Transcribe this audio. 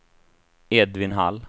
Edvin Hall